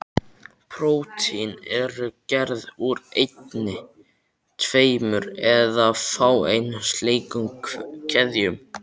Prótín eru gerð úr einni, tveimur eða fáeinum slíkum keðjum.